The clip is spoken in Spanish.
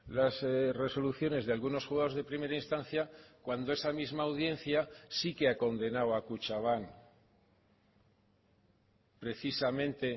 las resoluciones de algunos juzgados de primera instancia cuando esa misma audiencia sí que ha condenado a kutxabank precisamente